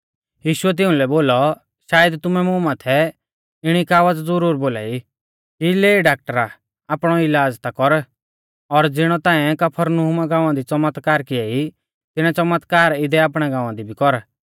यीशुऐ तिउंलै बोलौ शायद तुमै मुं माथै इणी कहावत ज़ुरुरी बोलाई कि लै डाकटरा आपणौ इलाज़ ता कर और ज़िणै ताऐं कफरनहूमा गाँवा दी च़मतकार किऐ ई तिणै च़मतकार इदै आपणै गाँवा दी भी कर